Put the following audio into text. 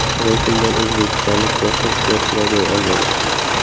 Reytingdan o‘zbekistonlik boshqa sportchilar joy olmagan.